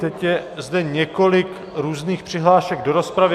Teď je zde několik různých přihlášek do rozpravy.